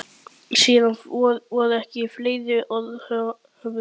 Engin furða þótt þetta hafi stigið henni til höfuðs.